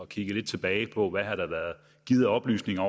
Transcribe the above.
kig tilbage på hvad har været givet af oplysninger